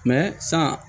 san